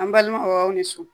An balima aw ni so